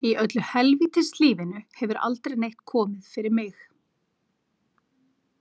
Í öllu helvítis lífinu hefur aldrei neitt komið fyrir mig.